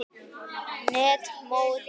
net mótinu?